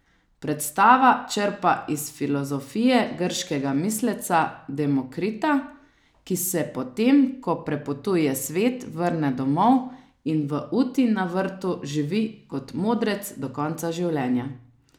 Predstava črpa iz filozofije grškega misleca Demokrita, ki se potem, ko prepotuje svet, vrne domov in v uti na vrtu živi kot modrec do konca življenja.